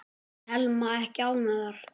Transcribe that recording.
Telma: Ekki ánægðar?